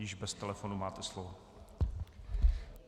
Již bez telefonu máte slovo.